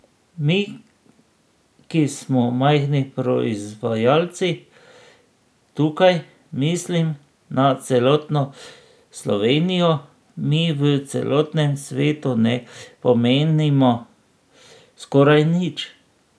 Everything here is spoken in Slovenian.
Mi, ki smo majhni proizvajalci, tukaj mislim na celotno Slovenijo, mi v celotnem svetu ne pomenimo skoraj nič.